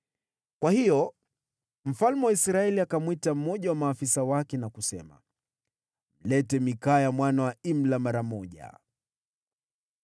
Kwa hiyo mfalme wa Israeli akamwita mmoja wa maafisa wake na kusema, “Mlete Mikaya mwana wa Imla mara moja.”